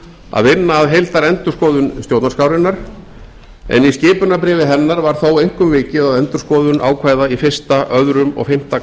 að vinna að heildarendurskoðun stjórnarskrárinnar en í skipunarbréfi hennar var þó einkum vikið að endurskoðun ákvæða í fyrsta annað og fimmta